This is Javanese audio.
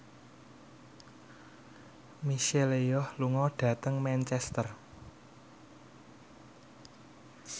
Michelle Yeoh lunga dhateng Manchester